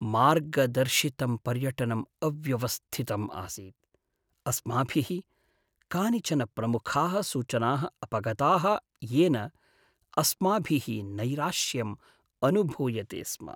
मार्गदर्शितं पर्यटनम् अव्यवस्थितम् आसीत्, अस्माभिः कानिचन प्रमुखाः सूचनाः अपगताः येन अस्माभिः नैराश्यम् अनुभूयते स्म।